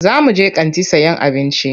Za muje kanti sayan abinci.